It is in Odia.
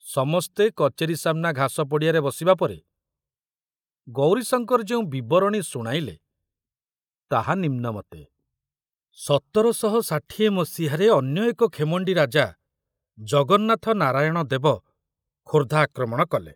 ସମସ୍ତେ କଚେରୀ ସାମନା ଘାସ ପଡ଼ିଆରେ ବସିବା ପରେ ଗୌରୀଶଙ୍କର ଯେଉଁ ବିବରଣୀ ଶୁଣାଇଲେ, ତାହା ନିମ୍ନମତେ ସତର ଶହ ଷାଠିଏ ମସିହାରେ ଅନ୍ୟ ଏକ ଖେମଣ୍ଡି ରାଜା ଜଗନ୍ନାଥ ନାରାୟଣ ଦେବ ଖୋର୍ଦ୍ଧା ଆକ୍ରମଣ କଲେ।